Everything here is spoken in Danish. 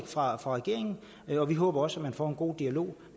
fra regeringen og vi håber også man får en god dialog